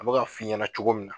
A bi ka f'i ɲɛna cogo min na